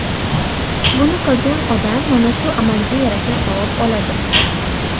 Buni qilgan odam mana shu amaliga yarasha savob oladi.